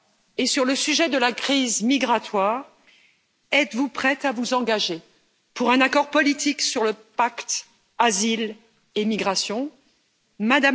Et sur le sujet de la crise migratoire, êtes vous prête à vous engager pour un accord politique sur le pacte sur la migration et l'asile?